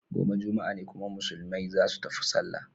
Gobe juma'a ne kuma musulmai zasu tafi sallah.